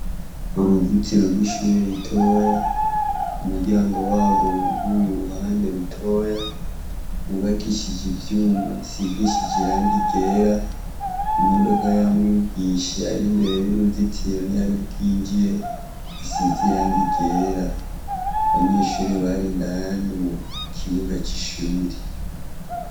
Uruzitiro rw'ishuri ritoya, umuryango warwo wuguruye uruhande rutoya; rwubakishije ivyuma bisigishije irangi ryera. Imodoka ya mwigisha yari imbere y'uruzitiro ntiyari bwinjire, isize irangi ryera. Abanyeshuri bari indani mu kibuga c'ishuri.